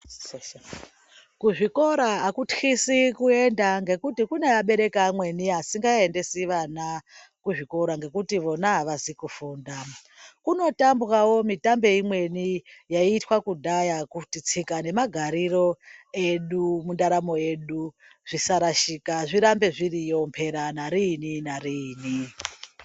Kuzvikora akutyisi kuenda ngokuti kune abereki amweni asikaendesi vana kuzvikora ngokuti vona avazi kufunda kunotambwawo mutambe imweni yaiitwa kudhaya kuti tsika nemagariro edu muntaramo yedu zvisarashika zvirambe zviriyo mpera nariini nariini.